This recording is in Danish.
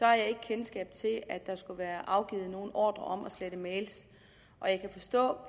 jeg ikke kendskab til at der skulle være afgivet nogen ordre om at slette mails og jeg kan forstå